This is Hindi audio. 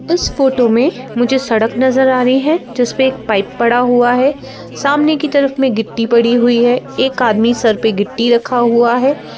इस फोटो में मुझे सड़क नज़र आ रही है जिस पे एक पाइप पड़ा हुआ हैसामने की तरफ में गिट्टी पड़ी हुई हैएक आदमी सर पे गिट्टी रखा हुआ है।